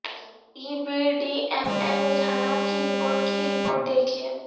ای B T M M رجحانات کی report کی رپورٹ دیکھیں